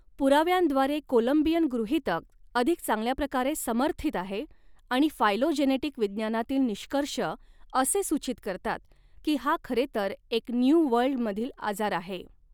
पुराव्यांद्वारे Columbian गृहीतक अधिक चांगल्या प्रकारे समर्थित आहे आणि फायलोजेनेटिक विज्ञानातील निष्कर्ष असे सूचित करतात की हा खरेतर एक न्यू वर्ल्डमधील आजार आहे.